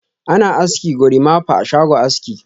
Ana aski "gorimapa" a shago aski.